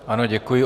Ano děkuji.